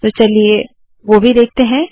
तो चलिए वोह भी देखते है